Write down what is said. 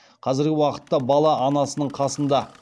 қазіргі уақытта бала анасының қасында